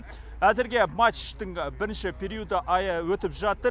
әзірге матчтың бірінші периоды өтіп жатыр